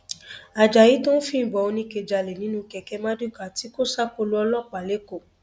ajayi tó ń fìbọn oníke jálẹ nínú kẹkẹ marduká tí kò ṣàkólò ọlọpàá lẹkọọ